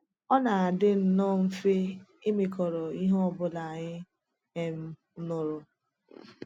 Ọ na-adị nnọọ mfe ịmịkọrọ ihe ọ bụla anyị um nụrụ.